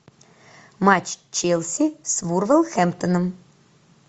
матч челси с вулверхэмптоном